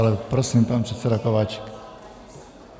Ale prosím, pan předseda Kováčik.